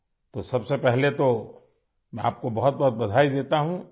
تو سب سے پہلے میں آپ کو دل کی گہرائیوں سے مبارکباد پیش کرتا ہوں